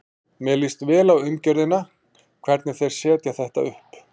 Mér líst vel á umgjörðina, hvernig þeir setja þetta upp.